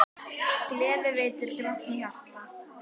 Gleði veitir grátnu hjarta.